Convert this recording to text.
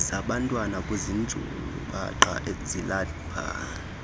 zabantwana kuzinjubaqa zilapha